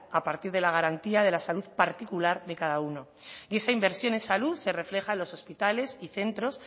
a partir de la garantía de la salud particular de cada uno y esa inversión en salud se refleja en los hospitales y centros